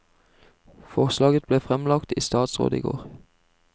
Forslaget ble fremlagt i statsråd i går.